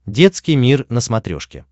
детский мир на смотрешке